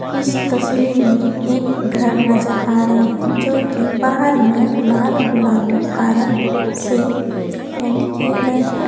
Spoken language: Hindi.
इस तस्वीर मे एक घर नजर आ रहे है जोकि बाहर मे लाल गुलाबी हरा से पेंट किये गए है।